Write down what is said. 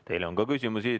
Teile on ka küsimusi.